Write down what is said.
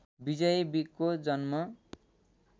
विजयी विकको जन्म